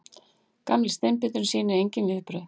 Gamli steinbíturinn sýnir engin viðbrögð.